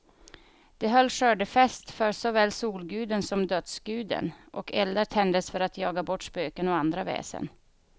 De höll skördefest för såväl solguden som dödsguden, och eldar tändes för att jaga bort spöken och andra väsen.